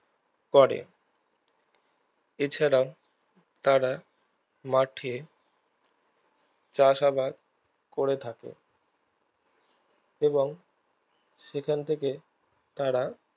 করে এছাড়া তারা মাঠে চাষ আবাদ করে থাকে এবং সেখান থেকে তারা